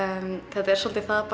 þetta er svolítið það